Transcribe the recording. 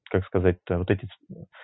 как сказать-то вот эти